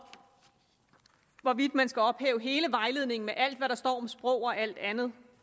hvorvidt man skal ophøje hele vejledningen med alt hvad der står om sprog og alt andet